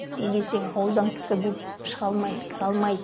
неге десең ауылдан кісі көп шыға алмайды кіре алмайды